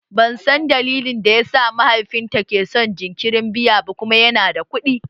Ban san dalilin da yasa mahaifinta ke son jinkirin biya ba kuma yana da kuɗi